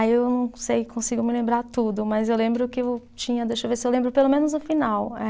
Aí eu não sei, consigo me lembrar tudo, mas eu lembro que eu tinha, deixa eu ver se eu lembro pelo menos o final, eh